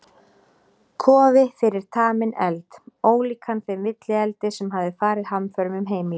Kofi fyrir taminn eld, ólíkan þeim villieldi sem hafði farið hamförum um heimilið.